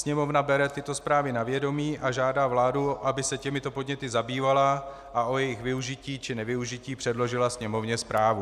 Sněmovna bere tyto zprávy na vědomí a žádá vládu, aby se těmito podněty zabývala a o jejich využití či nevyužití předložila Sněmovně zprávu.